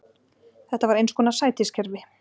Þetta var eins konar sætiskerfi.